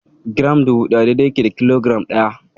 Giram dubu ɗaya dai-dai yake da kilogiram ɗaya.